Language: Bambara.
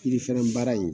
Yirifɛrɛn baara in